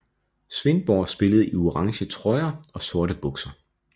Svendborg spillede i orange trøjer og sorte bukser